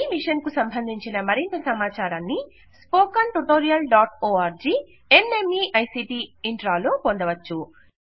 ఈ మిషన్కు సంబంధించిన మరింత సమాచారాన్ని spoken hyphen tutorial dot org slash NMEICT hyphen intro లో పొందవచ్చు